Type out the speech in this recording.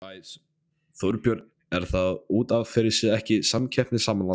Þorbjörn: Er það út af fyrir sig ekki samkeppnishamlandi?